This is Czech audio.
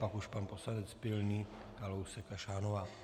Pak už pan poslanec Pilný, Kalousek a Šánová.